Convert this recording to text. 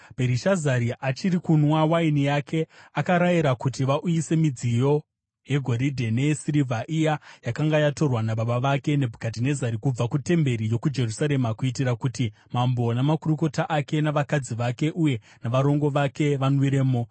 Bherishazari achiri kunwa waini yake, akarayira kuti vauyise midziyo yegoridhe neyesirivha iya yakanga yatorwa nababa vake Nebhukadhinezari kubva kutemberi yokuJerusarema, kuitira kuti mambo namakurukota ake, navakadzi vake uye navarongo vake vanwiremo.